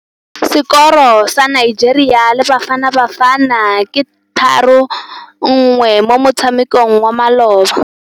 Sekôrô sa Nigeria le Bafanabafana ke 3-1 mo motshamekong wa malôba.